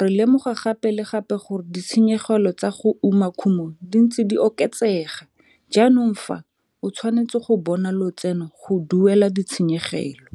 re lemoga gape le gape gore ditshenyegelo tsa go uma kumo di ntse di oketsega jaanong fa o tshwanetse go bona lotseno go duela ditshenyegelo.